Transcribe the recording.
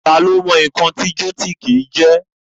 Tá lo mọ̀ nǹkan tí gótìkì jẹ́?